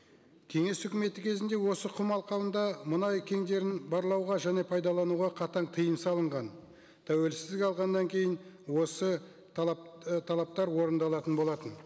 кеңес үкіметі кезінде осы құм алқабында мұнай кеңдерін барлауға және пайдалануға қатаң тыйым салынған тәуелсіздік алғаннан кейін осы і талаптар орындалатын болатын